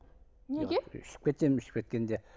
неге ішіп кетемін ішіп кеткенде